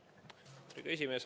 Lugupeetud esimees!